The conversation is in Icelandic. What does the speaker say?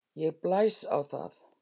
Ég blæs á það.